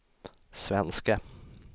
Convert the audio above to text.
svenske